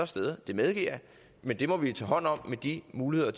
steder det medgiver jeg men det må vi tage hånd om med de muligheder